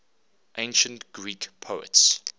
ancient greek poets